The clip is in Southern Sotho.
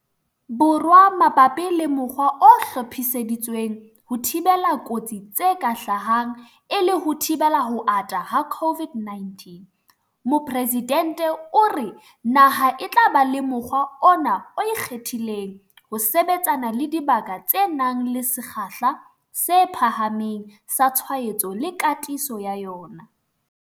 Borwa mabapi le mokgwa o hlophiseditsweng ho thibela kotsi tse ka hlahang e le ho thibela ho ata ha COVID-19, Mopresidente o re naha e tla ba le mokgwa ona o ikgethileng ho sebetsana le dibaka tse nang le sekgahla se phahameng sa tshwaetso le katiso ya yona.